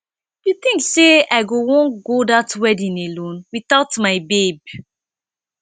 you think say i go wan go that wedding alone without my babe